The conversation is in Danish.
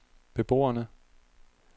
beboerne